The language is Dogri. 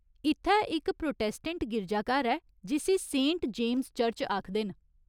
इत्थै इक प्रोटैस्टैंट गिरजाघर ऐ जिस्सी सेंट जेम्स चर्च आखदे न।